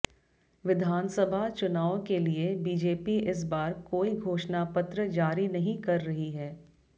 विधानसभा चुनाव के लिए बीजेपी इस बार कोई घोषणापत्र जारी नहीं कर रही है